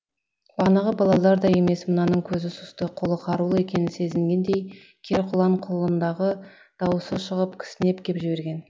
бағанағы балалардай емес мынаның көзі сұсты қолы қарулы екенін сезгендей кер құнан құлындағы дауысы шығып кісінеп кеп берген